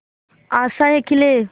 आशाएं खिले